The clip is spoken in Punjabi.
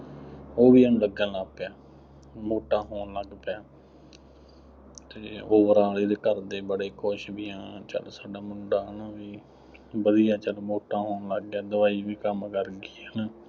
ਉਹ ਵੀ ਇਹਨੂੰ ਲੱਗਣ ਲੱਗ ਪਿਆ, ਮੋਟਾ ਹੋਣ ਲੱਗ ਪਿਆ, ਅਤੇ overall ਇਹਦੇ ਘਰ ਦੇ ਬੜੇ ਖੁਸ਼ ਵੀ, ਹਾਂ, ਚੱਲ ਸਾਡਾ ਮੁੰਡਾ ਹੈ ਨਾ, ਵਧੀਆ ਚੱਲ, ਮੋਟਾ ਹੋਣ ਲੱਗ ਗਿਆ, ਦਵਾਈ ਵੀ ਕੰਮ ਕਰ ਗਈ, ਹੈ ਨਾ।